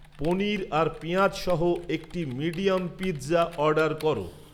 পনীর আর পেঁয়াজ সহ একটি মিডিয়াম পিৎজা অর্ডার করো